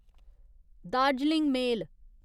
Darjeeling मेल